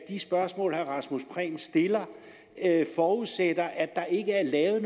de spørgsmål herre rasmus prehn stiller forudsætter derfor at der ikke er